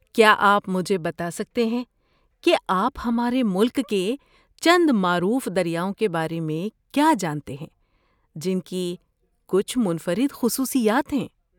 کیا آپ مجھے بتا سکتے ہیں کہ آپ ہمارے ملک کے چند معروف دریاؤں کے بارے میں کیا جانتے ہیں، جن کی کچھ منفرد خصوصیات ہیں؟